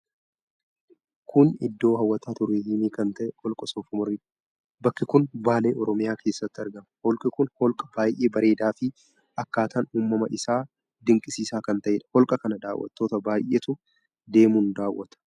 Kun iddoo hawwata turizimii kan ta'e Holqa Soofumaridha. Bakki kun Baalee, Oromiyaa keessatti argama. Holqi kun holqa baay'ee bareedaa fi akkaataan uumama isaa dinqisiisaa kan ta'eedha. Holqa kana dawwattoota baay'eetu deemuun daawwata.